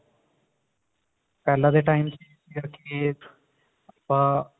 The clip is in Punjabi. ਪਹਿਲਾਂ ਦੇ time ਚ ਜਿਹੜੇ ਕੀ ਆਪਾਂ